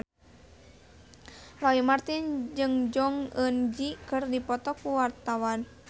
Roy Marten jeung Jong Eun Ji keur dipoto ku wartawan